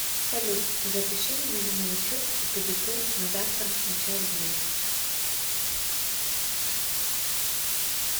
салют запиши меня на маникюр и педикюр на завтра на час дня